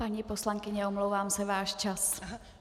Paní poslankyně, omlouvám se, váš čas.